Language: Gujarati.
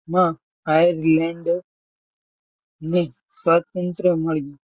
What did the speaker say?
માં ની સ્વતંત્ર મળી.